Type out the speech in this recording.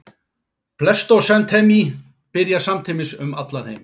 Pleistósentími byrjar samtímis um allan heim.